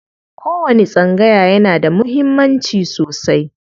Kowani tsangaya yana da muhimmanci sosai.